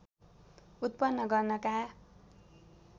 उत्पन्न गर्नका